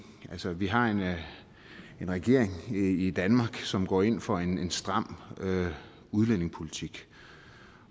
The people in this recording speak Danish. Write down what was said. vi har en regering i danmark som går ind for en stram udlændingepolitik